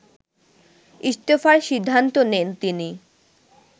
ইস্তফার সিদ্ধান্ত নেন তিনি